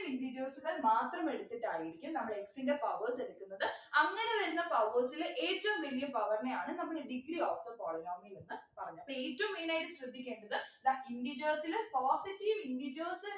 Integers കൾ മാത്രം എടുത്തിട്ടായിരിക്കും നമ്മൾ x ൻ്റെ powers എടുക്കുന്നത് അങ്ങനെ വരുന്ന powers ല് ഏറ്റവും വലിയ power നെയാണ് നമ്മൾ degree of the polynomial എന്നു പറഞ്ഞത് അപ്പൊ ഏറ്റവും main ആയിട്ട് ശ്രദ്ധിക്കേണ്ടത് ദാ integers ല് positive integers